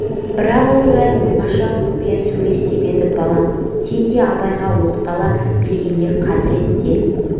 бірақ ол жайын оңаша құпия сөйлес деп еді балам сен деп абайға оқтала бергенде хазірет те